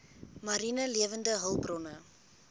mariene lewende hulpbronne